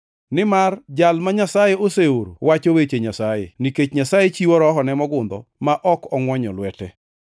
Nimar Jal ma Nyasaye oseoro wacho weche Nyasaye, nikech Nyasaye chiwo Rohone mogundho ma ok ongʼwonyo lwete.